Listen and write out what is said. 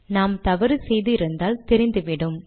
நாம் தவறு செய்து இருந்தால் தெரிந்துவிடும்